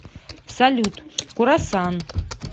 салют курассан